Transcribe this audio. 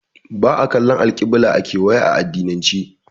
Ba'a kallan alƙibila a kewaya a addinance